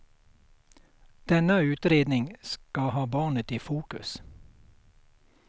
Denna utredning ska ha barnet i fokus.